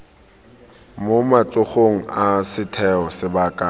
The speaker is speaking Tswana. mo matsogong a setheo sebaka